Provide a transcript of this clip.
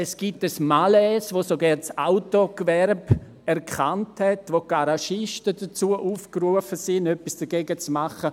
Es gibt ein Malaise, das sogar das Autogewerbe erkannt hat und die Garagisten aufgerufen sind, etwas dagegen zu tun.